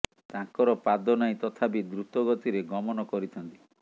ତାଙ୍କର ପାଦ ନାହିଁ ତଥାପି ଦ୍ରୁତ ଗତିରେ ଗମନ କରିଥାନ୍ତି